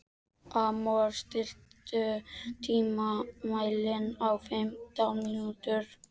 Amor, stilltu tímamælinn á fimmtán mínútur.